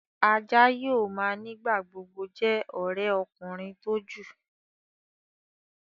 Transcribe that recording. Àjà yóò má nigba-gbogbo jé òré ọkùnrin tó jù.